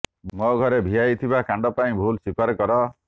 ମୋ ଘରେ ଭିଆଇଥିବା କାଣ୍ଡ ପାଇଁ ଭୁଲ ସ୍ୱୀକାର କର